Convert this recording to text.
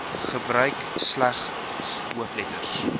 gebruik slegs hoofletters